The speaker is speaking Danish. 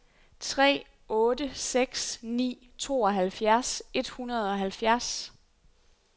tre otte seks ni tooghalvfjerds et hundrede og halvfjerds